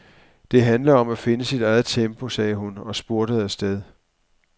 Det handler om at finde sit eget tempo, sagde hun og spurtede afsted.